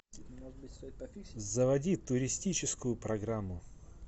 заводи туристическую программу